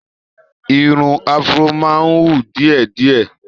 Irun afro máa ń hù díẹ̀ díẹ̀.